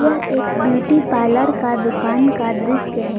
यह एक beauty parlour का दुकान का दृश्य है।